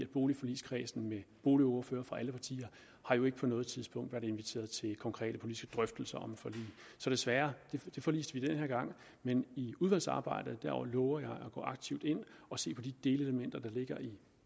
boligforligskredsen med boligordførere fra alle partier jo ikke på noget tidspunkt har været inviteret til konkrete politiske drøftelser om et forlig så desværre forliste vi det den her gang men i udvalgsarbejdet lover jeg at gå aktivt ind og se på de delelementer der ligger i